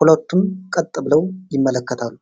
ሁለቱም ቀጥ ብለው ይመለከታሉ።